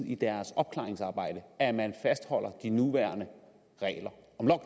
i deres opklaringsarbejde at man fastholder de nuværende regler